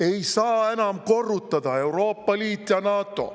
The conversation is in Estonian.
Ei saa enam korrutada: Euroopa Liit ja NATO.